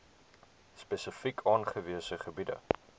spesifiek aangewese gebiede